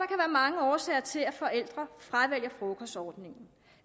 mange årsager til at forældre fravælger frokostordningen